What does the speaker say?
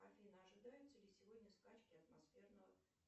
афина ожидаются ли сегодня скачки атмосферного